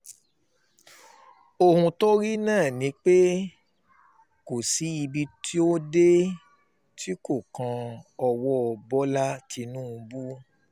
ohun tó rí náà ni pé kò sí ibi tí ó dé tí kò kan owó bọ́lá tìǹbù